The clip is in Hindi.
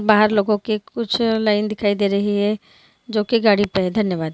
बहार लोगो के कुछ लाइन दिखाई दे रही है जो की गाड़ी पे है धन्यवाद् ।